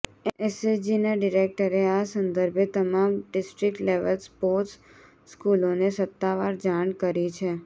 એસએજીના ડિરેક્ટરે આ સંદર્ભે તમામ ડિસ્ટ્રીક્ટ લેવલ સ્પોટ્ર્સ સ્કૂલોને સત્તાવાર જાણ કરી છે